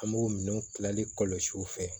An b'o minɛnw kilali kɔlɔsi u fɛ